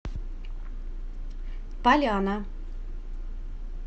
поляна